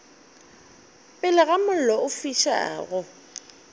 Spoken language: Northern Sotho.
pele ga mollo o fišago